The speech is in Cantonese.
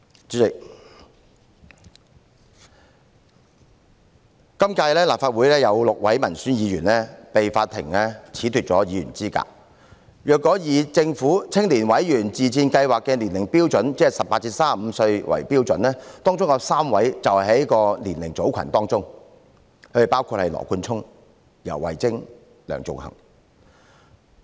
主席，今屆立法會有6位民選議員被法庭褫奪議員資格，如果以政府青年委員自薦試行計劃的年齡標準，即以18至35歲為標準，當中有3位是在該年齡組群當中，包括羅冠聰、游蕙禎和梁頌恆。